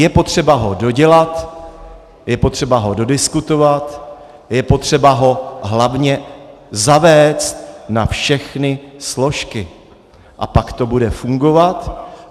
Je potřeba ho dodělat, je potřeba ho dodiskutovat, je potřeba ho hlavně zavést na všechny složky, a pak to bude fungovat.